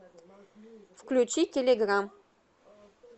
включи телеграм